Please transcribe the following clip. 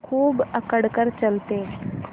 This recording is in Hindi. खूब अकड़ कर चलते